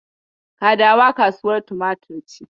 Kadawa is a tomato market.